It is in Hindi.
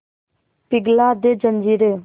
पिघला दे जंजीरें